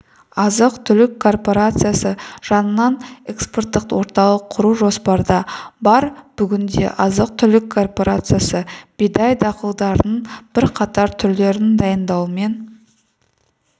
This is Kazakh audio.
азық-түлік корпорациясы жанынан экспорттық орталық құру жоспарда бар бүгінде азық-түлік корпорациясы бидай дақылдарының бірқатар түрлерін дайындаумен